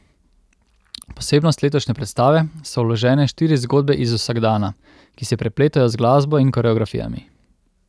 Posebnost letošnje predstave so vložene štiri zgodbe iz vsakdana, ki se prepletajo z glasbo in koreografijami.